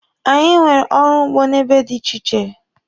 Anyị nwere ọrụ ugbo n'ebe dị iche iche.